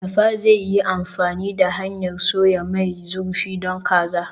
Mai dafa zai yi amfani da hanyar soya mai zurfi don kaza.